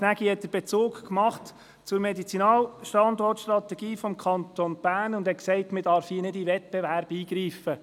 Jan Gnägi hat sich auf die Medizinalstandort-Strategie des Kantons Bern bezogen und erklärt, man dürfe nicht in den Wettbewerb eingreifen.